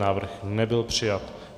Návrh nebyl přijat.